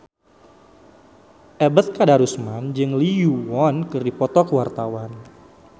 Ebet Kadarusman jeung Lee Yo Won keur dipoto ku wartawan